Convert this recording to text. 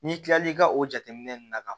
N'i kilal'i ka o jateminɛ ninnu na